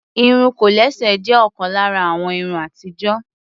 Irun kòlẹ́sẹ̀ jé òkan lára àwọn irun atijo.